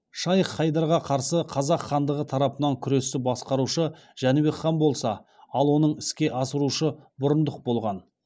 шайх хайдарға қарсы қазақ хандығы тарапынан күресті басқарушы жәнібек хан болса ал оны іске асырушы бұрындық болған